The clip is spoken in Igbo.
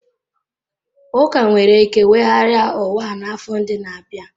Ụka nwere ike weghara ụwa n'afọ ndị na-abịa.